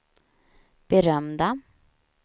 berömda